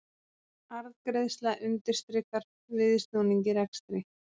Arðgreiðsla undirstrikar viðsnúning í rekstri